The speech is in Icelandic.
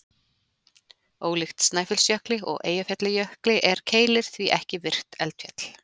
Ólíkt Snæfellsjökli og Eyjafjallajökli, er Keilir því ekki virkt eldfjall.